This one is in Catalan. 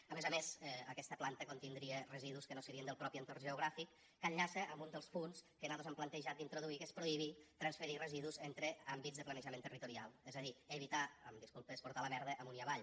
a més a més aquesta planta contindria residus que no serien del propi entorn geogràfic que enllaça amb un dels punts que nosaltres hem plantejat d’introduir que és prohibir transferir residus entre àmbits de planejament territorial és a dir evitar amb disculpes portar la merda amunt i avall